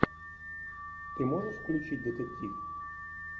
ты можешь включить детектив